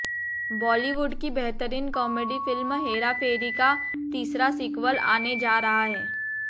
बॉलीवुड की बेहतरीन comedy film Hera Pheri का तीसरा सीक्वल आने जा रहा है